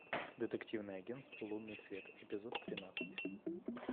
детективное агенство лунный свет эпизод тринадцать